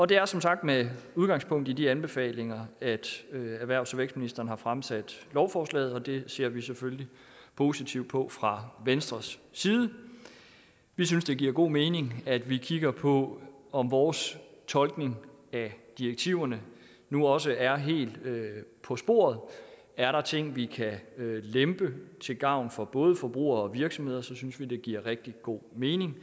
det er som sagt med udgangspunkt i de anbefalinger at erhvervs og vækstministeren har fremsat lovforslaget og det ser vi selvfølgelig positivt på fra venstres side vi synes det giver god mening at vi kigger på om vores tolkning af direktiverne nu også er helt på sporet er der ting vi kan lempe til gavn for både forbrugere og virksomheder synes vi det giver rigtig god mening